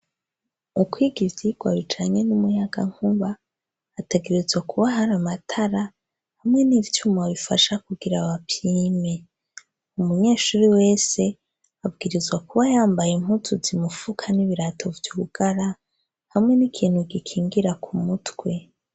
Ukwiga ivyirwari canke n'umuyaga nkuba ategirizwa kuba hari amatara hamwe n'ivyumu babifasha kugira abapime umunyeshuri wese abwirizwa kuba yambaye imputu zimupfuka n'ibirato vy'ubugara hamwe n'ikintu gikingira ku mutwe.